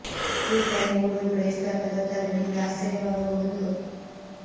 ಈ ಟ್ರೈನ್ ಓಡುವ ದೂರ ಎಷ್ಟು ಅಂತ ಗೊತ್ತಾದ್ರೆ ನಿಮಗೆ ಆಶ್ಚರ್ಯ ವಾಗಬಹುದು